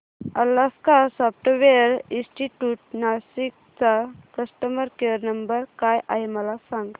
Alaska software institute Nashik चा customer care number काय आहे मला सांग